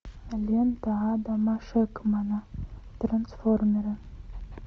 лента адама шенкмана трансформеры